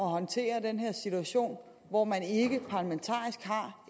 håndtere den situation hvor man ikke har